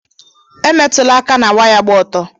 E metula aka ná waya gba ọtọ.